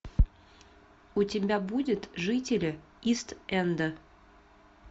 у тебя будет жители ист энда